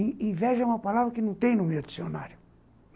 In inveja é uma palavra que não tem no meu dicionário.